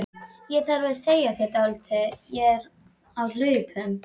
Ég þarf að segja þér dálítið, ég er á hlaupum.